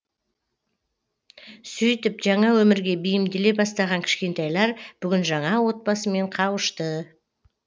сөйтіп жаңа өмірге бейімделе бастаған кішкентайлар бүгін жаңа отбасымен қауышты